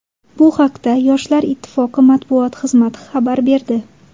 Bu haqda Yoshlar ittifoqi matbuot xizmati xabar berdi.